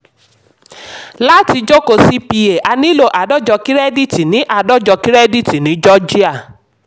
láti jókòó cpa a nílò àádọ́jọ kírẹ́díìtì ní àádọ́jọ kírẹ́díìtì ní georgia.